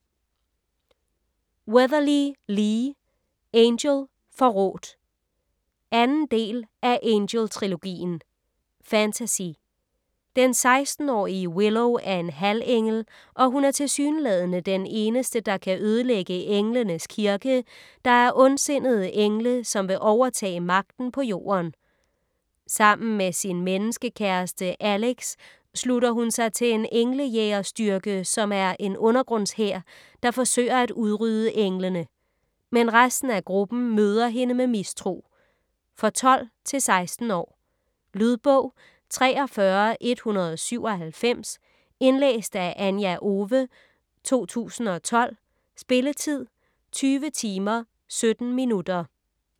Weatherly, Lee: Angel - forrådt 2. del af Angel-trilogien. Fantasy. Den 16-årige Willow er en halvengel, og hun er tilsyneladende den eneste, der kan ødelægge "Englenes Kirke", der er ondsindede engle, som vil overtage magten på Jorden. Sammen med sin menneskekæreste, Alex slutter hun sig til en englejægerstyrke, som er en undergrundshær, der forsøger at udrydde englene. Men resten af gruppen møder hende med mistro. For 12-16 år. Lydbog 43187 Indlæst af Anja Owe, 2012. Spilletid: 20 timer, 17 minutter.